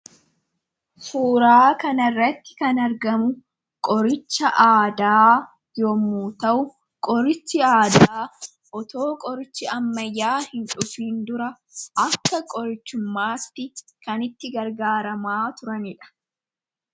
Suuraa kana irratti kan argamu qoricha aadaa yommu ta'u qorichi aadaa otoo qorichi ammayyaa hin dufiin dura akka qorichummaatti kan itti gargaaramaa turaniidha.